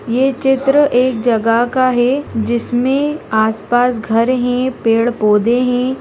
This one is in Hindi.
ये चित्र एक जगह का है जिसमे आस पास घर है पेड़-पौधे हैं।